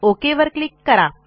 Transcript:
okay वर click करा